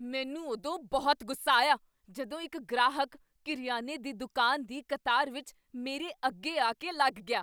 ਮੈਨੂੰ ਉਦੋਂ ਬਹੁਤ ਗੁੱਸਾ ਆਇਆ ਜਦੋਂ ਇੱਕ ਗ੍ਰਾਹਕ ਕਰਿਆਨੇ ਦੀ ਦੁਕਾਨ ਦੀ ਕਤਾਰ ਵਿੱਚ ਮੇਰੇ ਅੱਗੇ ਆਕੇ ਲੱਗ ਗਿਆ।